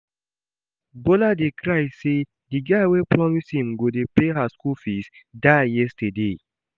Bola dey cry say the guy wey promise im go dey pay her school fees die yesterday